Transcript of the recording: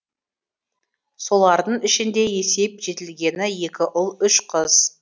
солардың ішінде есейіп жетілгені екі ұл үш қыз